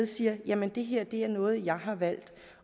siger jamen det her er noget jeg har valgt